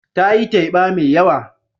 Ta yi teba mai yawa.